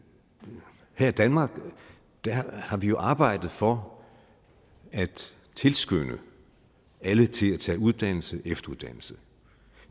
her i danmark jo har arbejdet for at tilskynde alle til at tage uddannelse og efteruddannelse